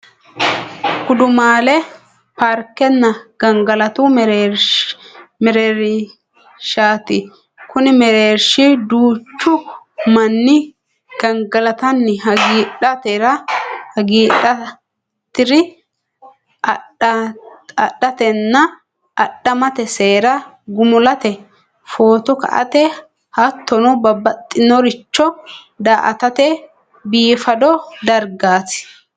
Gudumaale paarikenna gangalatu mereerishati, kuni mereerishi duuchu mani gangalatanni hagidhatr adhatenna adhamate seera gumulate, fotto ka'ate hattonno babaxinoricho daa'atate biifado darigati